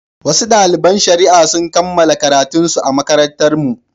Wasu daliban shari'a sun kammala karatunsu a makarantarmu.